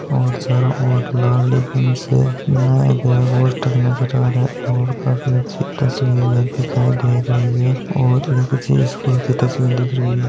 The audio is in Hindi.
और चारो और लाल रिबन से बनाया गया पोस्टर नज़र आ रहा है और काफी अच्छी तस्वीर ये दिखाई दे रही है और ये किसी स्कूल की तस्वीर दिख रही है।